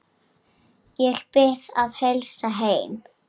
Ég bið að heilsa heim.